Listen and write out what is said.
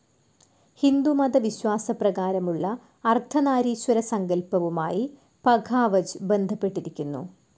ഹിന്ദുമത വിശ്വാസപ്രകാരമുള്ള അർദ്ധനാരീശ്വര സങ്കല്പവുമായ് പഘാവജ് ബന്ധപ്പെട്ടിരിക്കുന്നു.